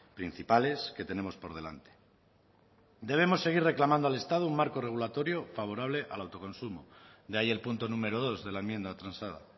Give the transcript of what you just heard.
principales que tenemos por delante debemos seguir reclamando al estado un marco regulatorio favorable al autoconsumo de ahí el punto número dos de la enmienda transada